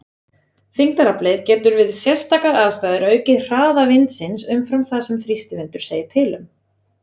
Þyngdaraflið getur við sérstakar aðstæður aukið hraða vindsins umfram það sem þrýstivindur segir til um.